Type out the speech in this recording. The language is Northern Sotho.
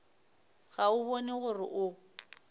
ga o bone gore o